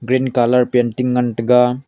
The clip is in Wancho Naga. pint colour painting ngan taga-